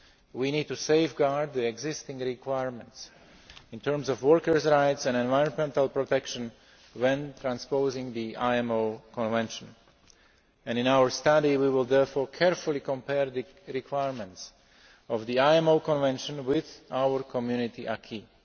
We need to safeguard the existing requirements in terms of workers' rights and environmental protection when transposing the IMO Convention. And in our study, we will therefore carefully compare the requirements of the IMO Convention with our Community acquis.